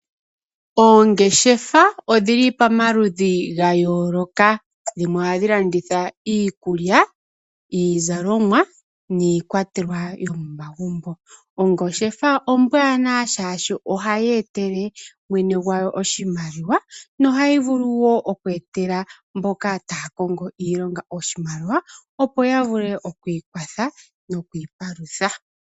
Oongeshefa odhili pomaludhi ga yooloka dhimwe ohadhi landitha iikulya, iizalomwa niikwatelwa yomomagumbo. Ongeshefa ombwaanawa shaashi ohayi etele mwene gwawo oshimaliwa nohayi vulu wo oku etela mboka taya kongo iilonga iimaliwa opo ya vule okwiikwatha nokwiipalutha.